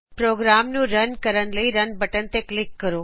programme ਨੂੰ run ਕਰਨ ਲਈ ਰਨ ਬਟਨ ਤੇ ਕਲਿਕ ਕਰੋ